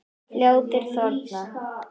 Fljótið þornar.